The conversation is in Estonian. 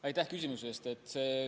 Aitäh küsimuse eest!